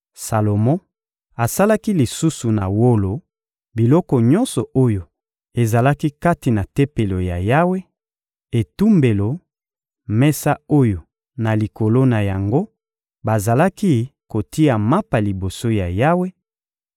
Salomo asalaki lisusu na wolo biloko nyonso oyo ezalaki kati na Tempelo ya Yawe: etumbelo; mesa oyo, na likolo na yango, bazalaki kotia mapa liboso ya Yawe;